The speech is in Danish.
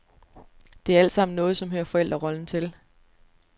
Det er alt sammen noget som hører forældrerollen til.